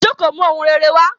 Ijọ́ kò mú ohun rere wá